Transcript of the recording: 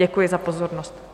Děkuji za pozornost.